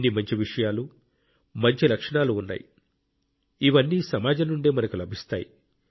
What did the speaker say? ఎన్ని మంచి విషయాలు మంచి లక్షణాలు ఉన్నాయి ఇవన్నీ సమాజం నుండే మనకు లభిస్తాయి